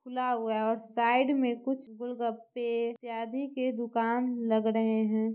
खुला हुआ है और साइड में कुछ गोलगप्पे इत्यादि के दुकान लग रहे है।